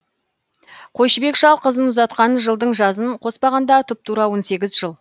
қойшыбек шал қызын ұзатқан жылдың жазын қоспағанда тұп тура он сегіз жыл